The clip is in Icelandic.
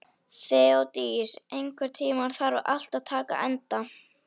Þeódís, einhvern tímann þarf allt að taka enda.